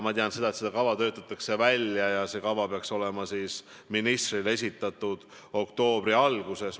Ma tean, et seda kava töötatakse välja ja see peaks olema ministrile esitatud oktoobri alguses.